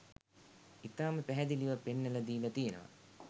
ඉතාම පැහැදිලිව පෙන්නල දීලා තියෙනවා.